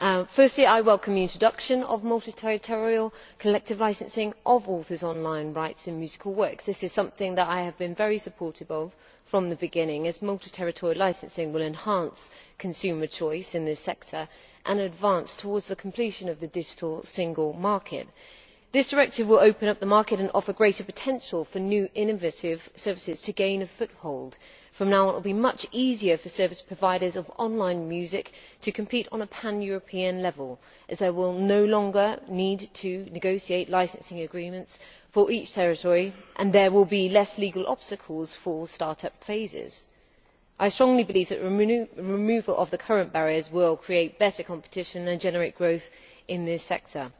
Firstly, I welcome the introduction of multi territorial collective licensing of authors' online rights in musical works. This is something I have been very supportive of from the beginning, as multi territorial licensing will enhance consumer choice in this sector and helps us advance towards the completion of the digital single market. This directive will open up the market and offer greater potential for new, innovative services to gain a foothold. From now on it will be much easier for service providers of online music to compete on a pan European level, as they will no longer need to negotiate licensing agreements for each territory, and there will be fewer legal obstacles for start up phases. I strongly believe that the removal of the current barriers will create better competition and generate growth in this sector.